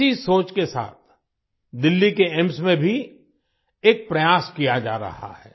इसी सोच के साथ दिल्ली के एम्स में भी एक प्रयास किया जा रहा है